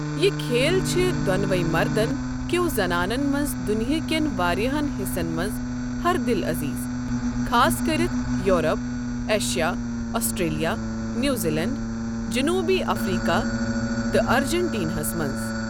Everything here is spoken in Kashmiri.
یہِ كھیل چھِ دونونی مردن كِیو زنانن منز دنیا كین واریاہن حِصن منز ہر دل عزیز، خاصكرِتھ یورپ ، ایشیا ، آسٹریلیا ،نیو زیلینڈ ، جنوبی افریكہ تہٕ ارجنٹینِیاہس منز ۔